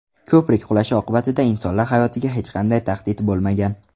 Ko‘prik qulashi oqibatida insonlar hayotiga hech qanday tahdid bo‘lmagan.